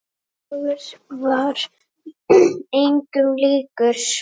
Hver dagur var engum líkur.